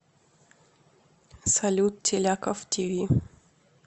салют теляков ти ви